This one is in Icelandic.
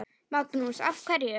Magnús: Af hverju?